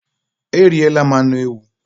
eriela m anu ewu